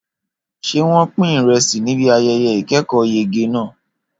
Ṣé wọ́n pín ìrẹsì níbi ayẹyẹ ìkẹ́kọ̀ọ́yege náà?